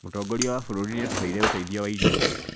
Mũtongoria wa bũrũri nĩatuheire ũteithio wa irio